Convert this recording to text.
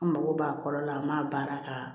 An mago b'a kɔrɔ la an b'a baara k'a la